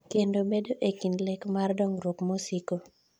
kendo bedo e kind lek mar dongruok mosiko